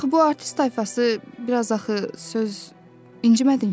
Axı bu artist tayfası biraz axı söz İncimədin ki.